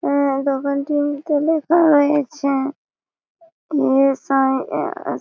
হুম দোকানটির মধ্যে লেখা রয়েছে E. S. I. A. S..